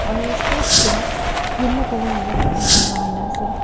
aro stage tae yellow colour laka kapra khan lakai kaena ase.